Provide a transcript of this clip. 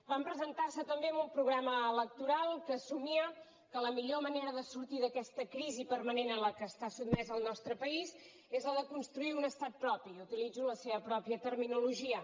van presentar se també amb un programa electoral que assumia que la millor manera de sortir d’aquesta crisi permanent en la qual està sotmesa el nostre país és la de construir un estat propi i utilitzo la seva pròpia terminologia